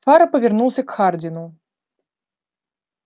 фара повернулся к хардину